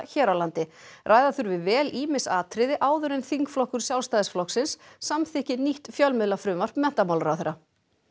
hér á landi ræða þurfi vel ýmis atriði áður en þingflokkur Sjálfstæðisflokksins samþykki nýtt fjölmiðlafrumvarp menntamálaráðherra